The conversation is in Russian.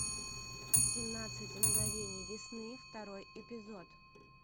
семнадцать мгновений весны второй эпизод